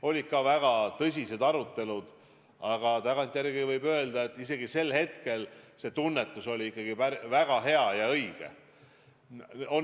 Olid ka väga tõsised arutelud, aga tagantjärele võib öelda, et sel hetkel see tunnetus oli väga õige.